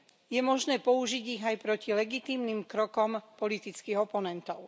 Je možné použiť ich aj proti legitímnym krokom politických oponentov.